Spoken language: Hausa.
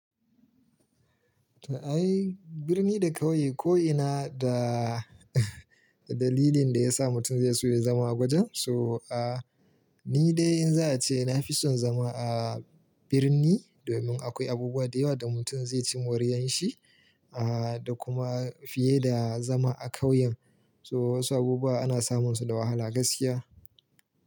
Ta ai birni da ƙauye ko'ina da dalilin da ya sa mutum zai so ya zama a gwajin. So a ni dai in za a ce na fi son zama a birni domin akwai abubuwa da yawa da mutum zai ci moriyar shi a da kuma fiye da zama a ƙauyen. So wasu abubuwa ana samun su da wahala gaskiya.